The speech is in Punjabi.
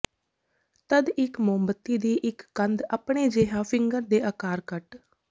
ਤਦ ਇੱਕ ਮੋਮਬੱਤੀ ਦੀ ਇੱਕ ਕੰਦ ਆਪਣੇ ਜਿਹਾ ਫਿੰਗਰ ਦੇ ਆਕਾਰ ਕੱਟ